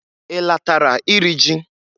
I latara iri ji?